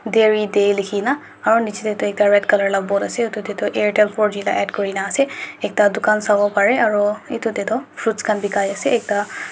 Dairy day lekhina aro niche tey toh ekta red colour la board ase utu tetu airtel four g laka add kurina ase ekta dukan sabo bare aro etutatu fruits khan bekai ase ekta--